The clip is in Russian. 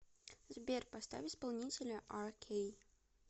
сбер поставь исполнителя аркей